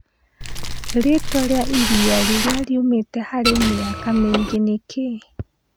rĩtwa rĩa ĩrĩa rĩrĩa rĩũmite harĩ mĩaka mĩngi nĩ kĩĩ